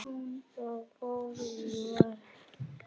Og fórum í vörn.